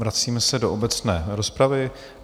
Vracíme se do obecné rozpravy.